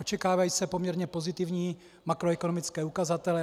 Očekávají se poměrně pozitivní makroekonomické ukazatele.